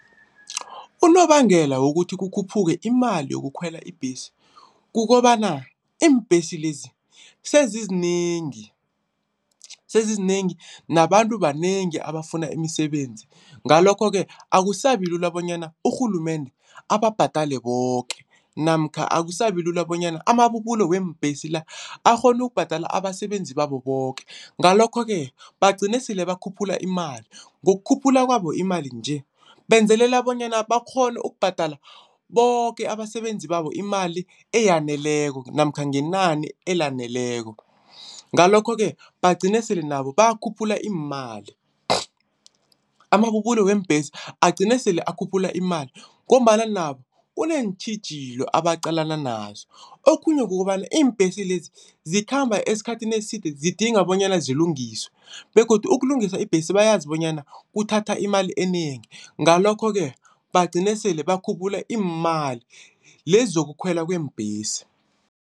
Unobangela wokuthi kukhuphuke imali yokukhwela ibhesi, kukobana iimbhesi lezi sezizinengi. Sezizinengi nabantu banengi abafuna imisebenzi. Ngalokho-ke akusabi lula bonyana urhulumende ababhadele boke namkha akusabi lula bonyana amabubulo weembhesi la akghone ukubhadala abasebenzi babo boke. Ngalokho-ke bagcine sele bakhuphula imali, ngokukhuphula kwabo imali nje benzelela bonyana bakghone ukubhadala boke abasebenzi babo imali eyaneleko namkha ngenani elaneleko. Ngalokho-ke bagcine sele nabo bakhuphula iimali. Amabubulo weembhesi agcine sele akhuphula imali ngombana nabo kunentjhijilo abaqalana nazo. Okhunye kukobana iimbhesi lezi zikhamba esikhathini eside zidinga bonyana zilungiswe begodu ukulungisa ibhesi bayazi bonyana kuthatha imali enengi. Ngalokho-ke bagcine sele bakhuphula iimali lezi zokukhwelwa kweembhesi.